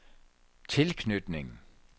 tilknytning